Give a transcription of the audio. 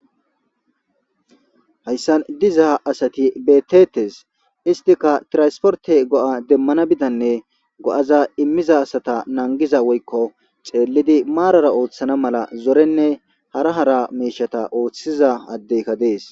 hayssan dizaha asati betetes istika tirasporte go7a demmana bidanne go7aza immiza asata nangiza woykko xeellidi maarara ooththana mala zorenne hara hara meeshata ooththiza addeyka dees